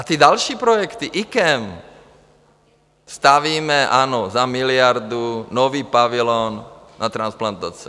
A ty další projekty - IKEM, stavíme, ano, za miliardu nový pavilon na transplantace.